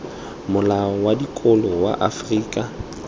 molao wa dikolo wa afrika